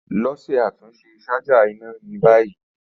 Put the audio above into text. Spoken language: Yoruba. Lọ ṣe atunṣe ṣaja ina ni bayi.